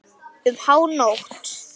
Um hánótt.